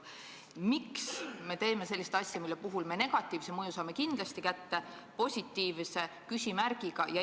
Miks me teeme sellist asja, mille puhul me negatiivse mõju saame kindlasti kätte, positiivne on küsimärgiga?